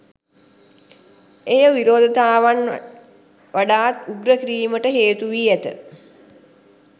එය විරෝධතාවන් වඩාත් උග්‍ර කිරීමට හේතු වී ඇත.